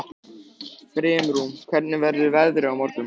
Brimrún, hvernig verður veðrið á morgun?